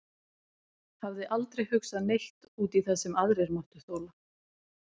Hafði aldrei hugsað neitt út í það sem aðrir máttu þola.